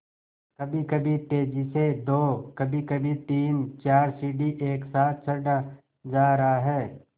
कभीकभी तेज़ी से दो कभीकभी तीनचार सीढ़ी एक साथ चढ़ा जा रहा है